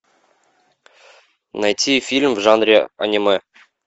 найти фильм в жанре аниме